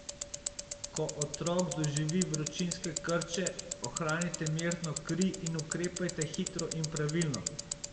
Ko otrok doživi vročinske krče, ohranite mirno kri in ukrepajte hitro in pravilno.